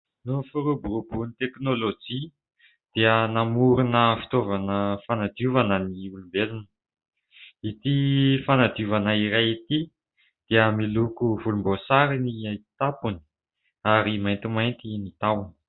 Noho ny firoboroboan'ny teknolojia dia namorona fitaovana fanadiovana ny olombelona. Ity fanadiovana iray ity dia miloko volomboasary ny tampony ary maintimainty ny tahony.